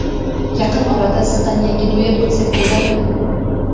Yaqin orada sizdan yangi duet kutsak bo‘ladimi?